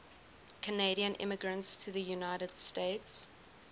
canadian immigrants to the united states